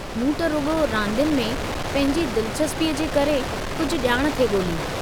मूं त रुॻो रांदियुनि में पंहिंजी दिलचस्पी जे करे कुझु ॼाण थे ॻोल्ही।